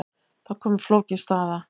Þá kom upp flókin staða.